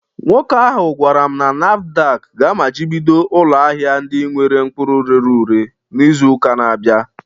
Nwoke ahụ gwara m na NAFDAC ga-amachibido ụlọ ahịa ndị nwere mkpụrụ rere ure n'izu na-abịa